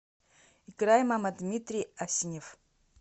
играй мама дмитрий асенев